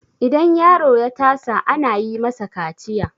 idan yaro ya tasa ana yi masa kaciya